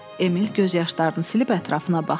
Emil göz yaşlarını silib ətrafına baxdı.